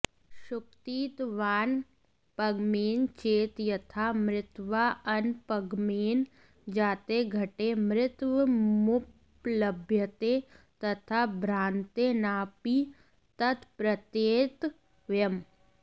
शुक्तित्वानपगमेन चेत् यथा मृत्वाऽनपगमेन जाते घटे मृत्वमुपलभ्यते तथा भ्रान्तेनाऽपि तत्प्रत्येतव्यम्